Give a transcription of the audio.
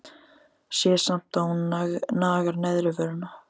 Sé samt að hún nagar neðri vörina.